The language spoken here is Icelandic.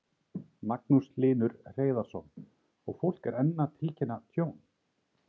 Magnús Hlynur Hreiðarsson: Og fólk er enn að tilkynna tjón?